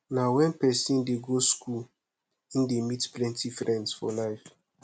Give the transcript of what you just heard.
na wen pesin dey go skool e dey meet plenty friends for life